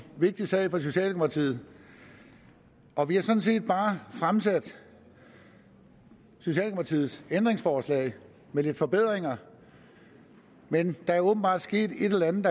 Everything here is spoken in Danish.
vigtig sag for socialdemokratiet og vi har sådan set bare fremsat socialdemokratiets forslag med lidt forbedringer men der er åbenbart sket et eller andet